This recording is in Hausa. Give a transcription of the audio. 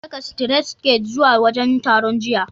Na saka sitiret siket zuwa wajen taron, jiya.